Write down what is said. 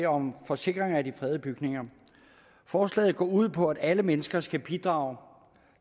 om forsikring af de fredede bygninger forslaget går ud på at alle mennesker skal bidrage